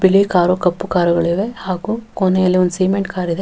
ಬಿಳಿ ಕಾರು ಕಪ್ಪು ಕಾರುಗಳಿವೆ ಹಾಗು ಕೊನೆಯಲ್ಲಿ ಒಂದು ಸಿಮೆಂಟ್ ಕಾರ್ ಇದೆ --